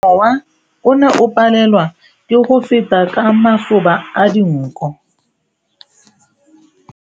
Mowa o ne o palelwa ke go feta ka masoba a dinko.